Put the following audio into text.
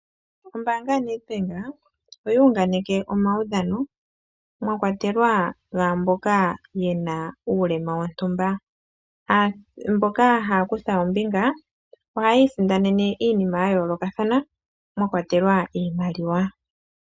Oombanga yaNedbank oya unganeke omaudhano mwakwatelwa gaamboka yena uulema wontumba, mboka haya kutha ombinga ohayi isindanene iinima ya yooloka mwa kwatelwa iimaliwa.